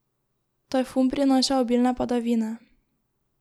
Tajfun prinaša obilne padavine.